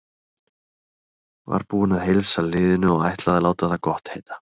Var búinn að heilsa liðinu og ætlaði að láta það gott heita.